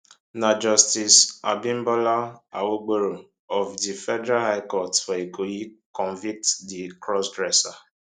na justice abimbola awogboro of di federal high court for ikoyi convict di crossdresser